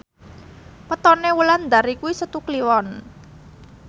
wetone Wulandari kuwi Setu Kliwon